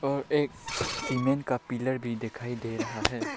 और एक सीमेंट का पिलर भी दिखाई दे रहा है।